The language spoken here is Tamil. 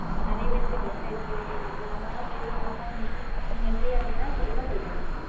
நெறைய பேருந்துக்கு dress எடுக்க வேண்டியது இருக்கு நம்ம வேணா போயிட்டு வரலாமா இன்னைக்கு நீங்க free ஆ இருந்திங்கன்னா சொல்லுங்க போயிட்டு வரலாம்